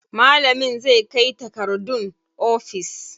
Malamin zai kai takardun ofis.